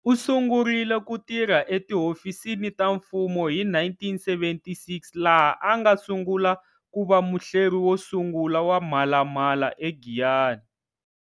U sungurile ku tirha etihofisini ta mfumo hi 1976 laha a nga sungula ku va muhleri wo sungula wa Mhalamhala eGiyani.